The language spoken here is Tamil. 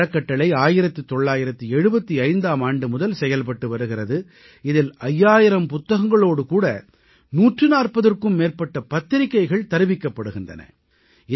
இந்த அறக்கட்டளை 1975ஆம் ஆண்டு முதல் செயல்பட்டு வருகிறது இதில் 5000 புத்தகங்களோடு கூட 140ற்கும் மேற்பட்ட பத்திரிக்கைகள் தருவிக்கப்படுகின்றன